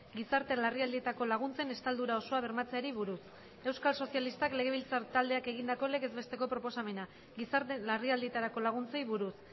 gizarte larrialdietako laguntzen estaldura osoa bermatzeari buruz euskal sozialistak legebiltzar taldeak egindako legez besteko proposamena gizarte larrialdietarako laguntzei buruz